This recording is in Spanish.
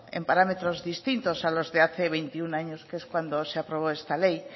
en parámetros distintos a los de hace veintiuno años que es cuando se aprobó esta ley